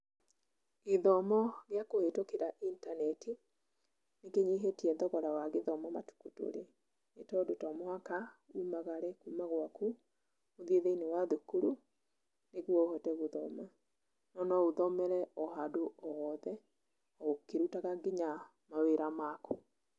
Gĩthomo gĩa kũhĩtũkĩra intaneti, nĩ kĩnyihĩtie thogora wa gĩthomo matukũ tũrĩ, nĩ tondũ to mũhaka umagare kuma gwaku, ũthiĩ thĩiniĩ wa thukuru, nĩguo ũhote gũthoma, no no ũthomere o handũ o hothe o ũkĩrutaga nginya mawĩra maku.